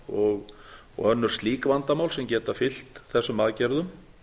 stinningarvandamál og önnur slík vandamál sem geta fylgt þessum aðgerðum